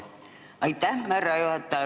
Aitäh, härra juhataja!